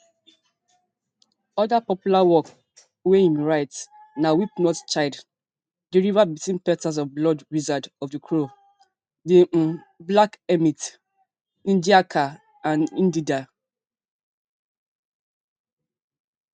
oda popular work wey im write na weep not child di river between petals of blood wizard of di crow di um black hermit ngaahika ndeenda